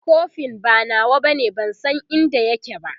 kofin ba nawa bane ban San inda yake ba